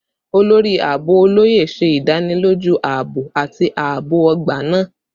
Olori Aabo Oloye ṣe idaniloju aabo ati aabo ogba naa